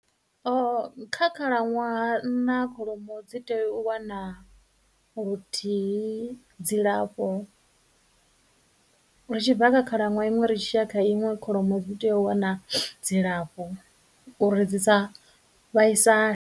kha khalaṅwaha nṋa kholomo dzi tea u wana luthihi dzilafho, ri tshi bva kha khalaṅwaha iṅwe ri tshi ya kha iṅwe kholomo dzi tea u wana dzilafho uri dzi sa vhaisale.